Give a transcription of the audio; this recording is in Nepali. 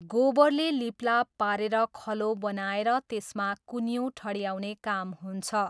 गोबरले लिपलाप पारेर खलो बनाएर त्यसमा कुन्यु ठड्याउने काम हुन्छ।